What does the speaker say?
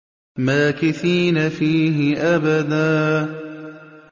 مَّاكِثِينَ فِيهِ أَبَدًا